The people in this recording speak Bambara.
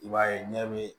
I b'a ye ɲɛ bɛ